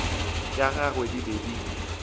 tša gagwe di be di